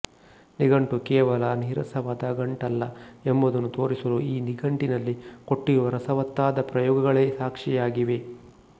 ನಿಘಂಟು ಕೇವಲ ನೀರಸವಾದ ಗಂಟಲ್ಲ ಎಂಬುದನ್ನು ತೋರಿಸಲು ಈ ನಿಘಂಟಿನಲ್ಲಿ ಕೊಟ್ಟಿರುವ ರಸವತ್ತಾದ ಪ್ರಯೋಗಗಳೇ ಸಾಕ್ಷಿಯಾಗಿವೆ